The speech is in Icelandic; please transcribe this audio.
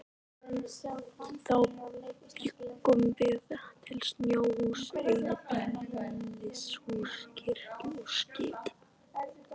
Þá bjuggum við til snjóhús, einbýlishús, kirkjur og skip.